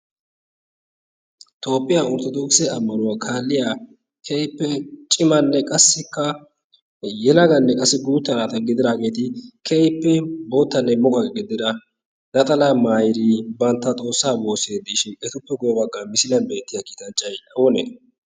Toopphiyaa orttodookise ammanuwaa kaalliya keehippe cimanne qassikka yelaganne qassi guutta naata gididaageeti keehippe boottanne muqaqe gidida naxala mayidi bantta xoossaa woosidi de'ishin etuppe guye baggaan misiliyan beettiya kiitanchchay oonee?